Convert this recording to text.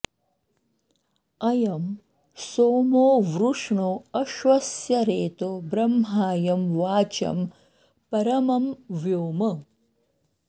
अयं सोमो वृष्णो अश्वस्य रेतो ब्रह्मायं वाचं परमं व्योम